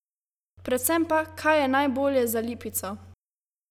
Predvsem pa, kaj je najbolje za Lipico?